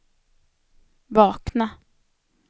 vakna